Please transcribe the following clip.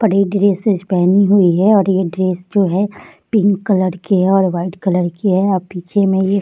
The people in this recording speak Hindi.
बड़े ड्रेसेस पहनी हुए है और ये ड्रेस जो है पिंक कलर की है और वाइट कलर की है और पीछे मे ये --